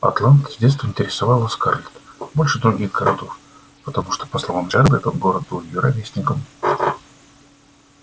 атланта с детства интересовала скарлетт больше других городов потому что по словам джералда этот город был её ровесником